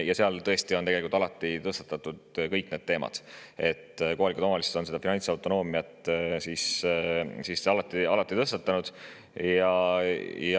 Ja seal tõesti on tegelikult alati tõstatatud kõik need teemad, kohalikud omavalitsused on finantsautonoomia alati tõstatanud.